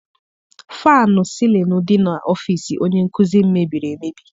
Fannụ sịlịnụ dị n'ọfịịsi onye nkụzi m mebiri emebi.